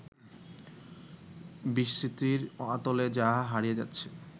বিস্মৃতির অতলে যা হারিয়ে যাচ্ছে